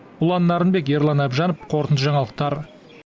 ұлан нарынбек ерлан әбжанов қорытынды жаңалықтар